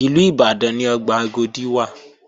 Ìlú Ìbàdàn ni ọgbà Agodi wà